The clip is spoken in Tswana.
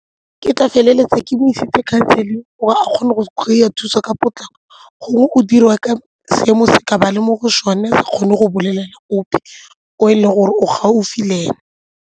Ke tla feleletsa ke mo isitse counselling gore a kgone go kry-a thuso ka potlako gongwe o diriwa ka seemo se a tla ba a le mo go sone a sa kgone go bolelela ope o e leng gore o gaufi le ena.